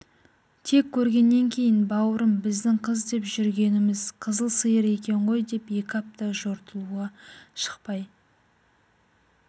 тек көргеннен кейін бауырым біздің қыз деп жүргеніміз қызыл сиыр екен ғой деп екі апта жортуылға шықпай